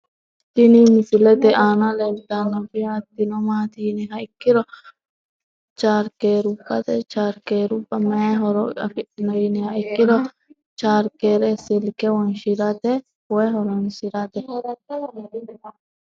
tini misilete aana leeltannoti hattino maati yiniha ikkiro chaarkerubbate chaarkerubba mayi horo afidhino yiniha ikkiro chaarkere Silke wonshshirate woyi horonsirate